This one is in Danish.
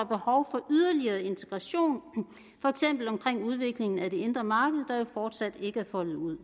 behov for yderligere integration for eksempel omkring udviklingen af det indre marked der jo fortsat ikke er foldet ud